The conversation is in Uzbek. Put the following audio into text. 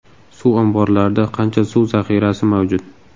Suv omborlarida qancha suv zaxirasi mavjud?